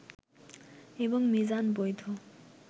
এবং মিজান বৈধ